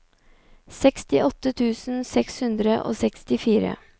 sekstiåtte tusen seks hundre og sekstifire